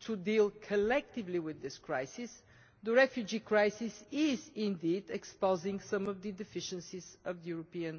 to deal collectively with this crisis, the refugee crisis is also exposing some of the deficiencies of the European